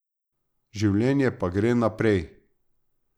Življenje pa gre naprej.